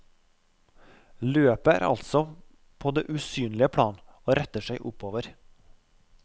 Løpet er altså på det usynlige plan og retter seg oppover.